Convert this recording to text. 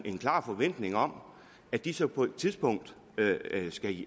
en klar forventning om at de så på et tidspunkt